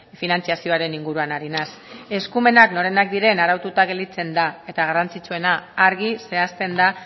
finantzazioaren inguruan ari naiz eskumenak norenak diren araututa gelditzen da eta garrantzitsuena argi zehazten da